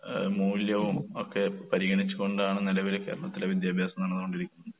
ഏഹ് മൂല്യവും ഒക്കെ പരിഗണിച്ചുകൊണ്ടാണ് നെലവിൽ കേരളത്തിലെ വിദ്യാഭ്യാസം നടന്ന് കൊണ്ടിരിക്കുന്നത്.